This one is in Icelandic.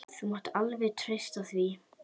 Þú mátt alveg treysta því.